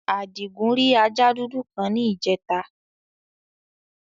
Àdìgún rì àja dúdú kan ní ìjẹtà.